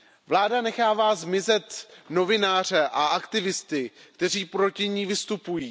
Vláda nechává zmizet novináře a aktivisty, kteří proti ní vystupují.